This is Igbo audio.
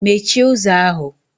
Mechie ụzọ ahụ!